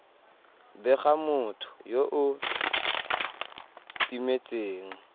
bega motho yo o timetseng